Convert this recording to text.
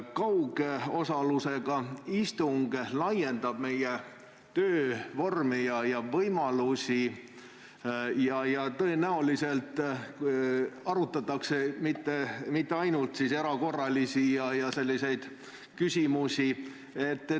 Kaugosalusega istung laiendab meie töövõimalusi ning tõenäoliselt arutatakse neil mitte ainult erakorralisi küsimusi.